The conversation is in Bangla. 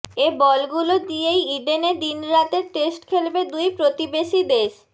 এ বলগুলো দিয়েই ইডেনে দিনরাতের টেস্ট খেলবে দুই প্রতিবেশী দেশ